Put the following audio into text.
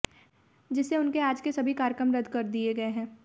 जिससे उनके आज के सभी कार्यक्रम रद्द कर दिए गए हैं